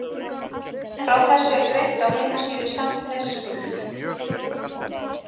Frá þessu er greint á heimasíðu Sandnes Ulf.